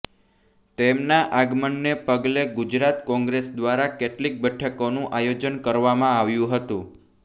તેમના આગમનને પગલે ગુજરાત કોંગ્રેસ દ્વારા કેટલીક બેઠકોનું આયોજન કરવામાં આવ્યું હતું